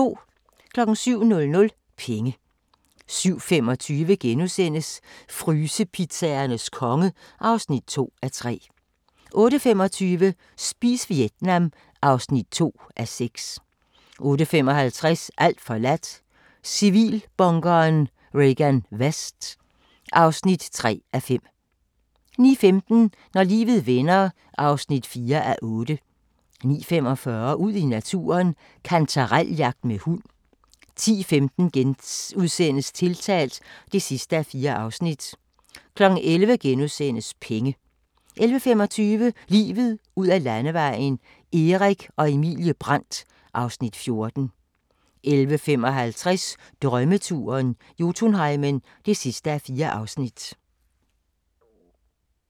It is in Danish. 07:00: Penge 07:25: Frysepizzaernes konge (2:3)* 08:25: Spis Vietnam (2:6) 08:55: Alt forladt – Civilbunkeren Regan Vest (3:5) 09:15: Når livet vender (4:8) 09:45: Ud i naturen: Kantarel-jagt med hund 10:15: Tiltalt (4:4)* 11:00: Penge * 11:25: Livet ud ad Landevejen: Erik og Emilie Brandt (Afs. 14) 11:55: Drømmeturen - Jotunheimen (4:4)